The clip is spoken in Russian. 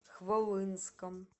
хвалынском